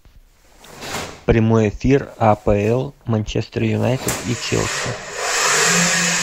прямой эфир апл манчестер юнайтед и челси